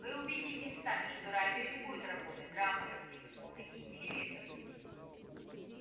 вы убедитесь сами что радио не будет работать равно как телефоны и телевизоры